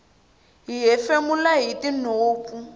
hi hefemula hitinhompfu